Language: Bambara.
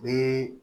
Ni